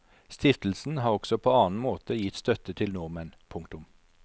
Stiftelsen har også på annen måte gitt støtte til nordmenn. punktum